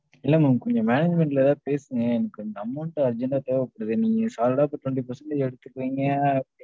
இல்ல madam கொஞ்சம் management ல எதாவது பேசுங்க. எனக்கு கொஞ்சம் amount urgent ஆ தேவைப்படுது. நீங்க solid ஆ இப்ப twenty percent எடுத்துக்குவீங்க அ.